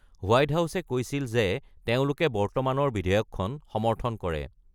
White হাউছে কৈছিল যে তেওঁলোকে বৰ্তমানৰ বিধেয়কখন সমৰ্থন কৰে।